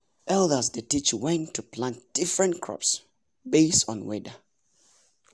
elders dey teach when to plant different crops based on weather.